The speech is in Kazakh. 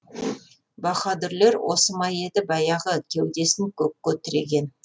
баһадұрлер осы ма еді баяғы кеудесін көкке тіреген